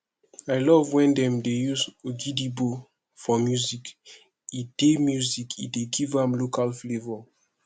i love wen dem use ogidigbo for music e dey music e dey give am local flavour